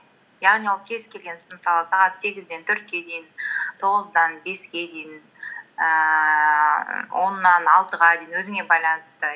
яғни ол кез келген мысалы сағат сегізден төртке дейін тоғыздан беске дейін ііі оннан алтыға дейін өзіңе байланысты